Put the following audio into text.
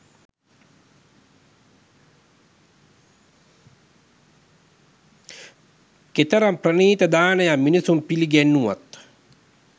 කෙතරම් ප්‍රණීත දානයක් මිනිසුන් පිළිගැන්වූවත්